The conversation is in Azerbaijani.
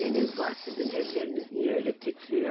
Nəyiniz var sizin, əlləriniz niyə elə titrəyir?